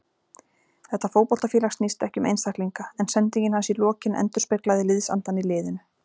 Þetta fótboltafélag snýst ekki um einstaklinga, en sendingin hans í lokin endurspeglaði liðsandann í liðinu.